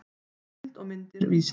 heimild og myndir vísindavefurinn